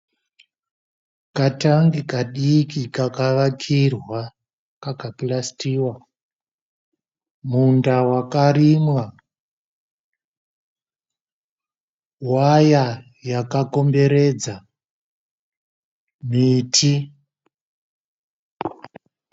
Katangi kadiki kakavakirwa kakapurasitiwa. Munda wakarimwa. Waya yakakomberedza miti.